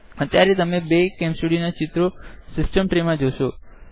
અત્યારે તમે બે કેમ સ્ટુડીઓ ના ઇકોન સીસ્ટમ ટ્રેમા જોશો